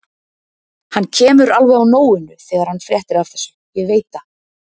Hann kemur alveg á nóinu þegar hann fréttir af þessu, ég veit það.